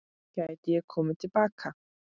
Gæti ég komið til baka?